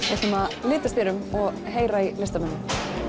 við ætlum að litast hér um og heyra í listamönnunum